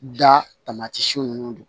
Da ninnu don